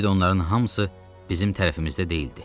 Bir də onların hamısı bizim tərəfimizdə deyildi.